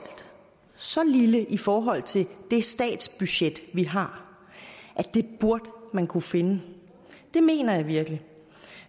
så lille i forhold til det statsbudget vi har at det burde man kunne finde det mener jeg virkelig